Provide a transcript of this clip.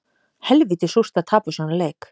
Helvíti súrt að tapa svona leik